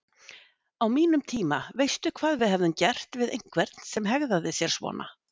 Á mínum tíma, veistu hvað við hefðum gert við einhvern sem hegðaði sér svona?